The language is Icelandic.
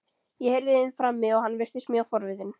Ég heyrði í þeim frammi og hann virtist mjög forvitinn.